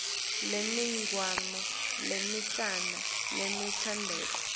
lemininingwane lemincane lelandzelako